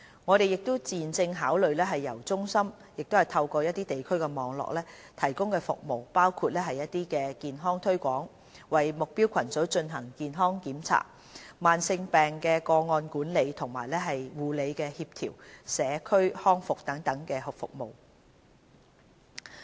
我們現正考慮將由中心透過地區網絡提供服務，包括健康推廣、為目標組群進行的健康檢查、慢性疾病個案管理及護理協調、社區康復等各項服務。